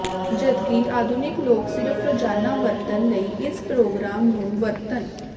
ਜਦਕਿ ਆਧੁਨਿਕ ਲੋਕ ਸਿਰਫ਼ ਰੋਜ਼ਾਨਾ ਵਰਤਣ ਲਈ ਇਸ ਪ੍ਰੋਗਰਾਮ ਨੂੰ ਵਰਤਣ